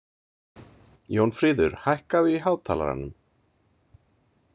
Jónfríður, hækkaðu í hátalaranum.